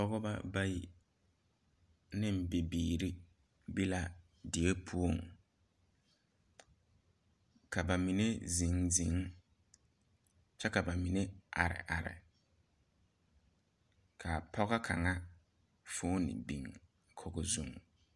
Pɔgba bayi ne bibiiri bela die pou ka ba mene zen zen kye ka ba mene arẽ arẽ kaa pɔgɔ kanga foɔni bing kogo zung.